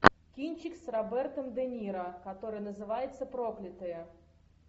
кинчик с робертом де ниро который называется проклятые